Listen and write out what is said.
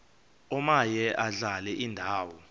omaye adlale indawo